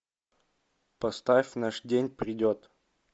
поставь наш день придет